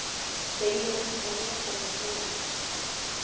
segir hann og réttir henni nótuna.